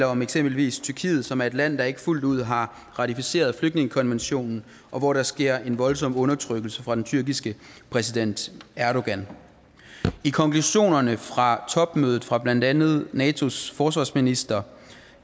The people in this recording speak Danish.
om eksempelvis tyrkiet som er et land der ikke fuldt ud har ratificeret flygtningekonventionen og hvor der sker en voldsom undertrykkelse fra den tyrkiske præsident erdogan i konklusionerne fra topmødet fra blandt andet natos forsvarsministre